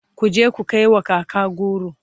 kuje ku kaiwa kaka goro!